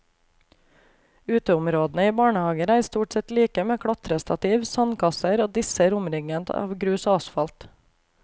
Uteområdene i barnehager er stort sett like med klatrestativ, sandkasser og disser omringet av grus og asfalt.